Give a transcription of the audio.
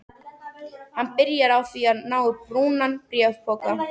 Hann byrjaði á því að ná í brúnan bréfpoka.